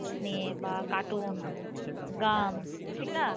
নিয়ে বা cartoon গান ঠিক না?